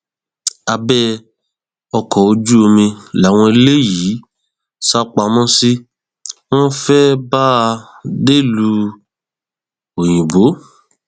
abẹ ọkọ ojú omi làwọn eléyìí sá pamọ sí wọn fẹẹ bá a dẹlúu òyìnbó